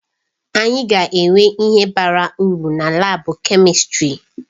Anyị ga-enwe ihe bara uru na laabu kèmistrị.